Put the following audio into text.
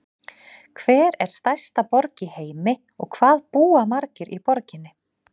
Hver er stærsta borg í heimi og hvað búa margir í borginni?